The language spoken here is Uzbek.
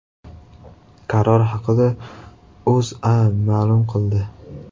Qaror haqida O‘zA ma’lum qildi .